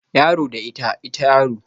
Yaro da ita, ita yaro